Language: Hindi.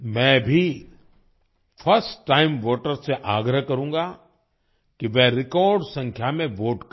मैं भी फर्स्ट टाइम वोटर्स से आग्रह करूंगा कि वे रेकॉर्ड संख्या में वोट करें